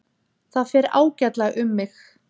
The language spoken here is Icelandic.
Það fer ágætlega um mig.